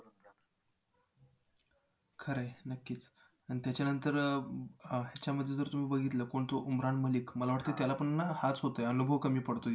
खरं आहे, नक्कीच आणि त्याच्यानंतर याच्यामध्ये तुम्ही बघितलं कोण तो उमरान मलिक मला वाटतंय त्याला पण ना हाच होतोय अनुभव कमी पडतोय.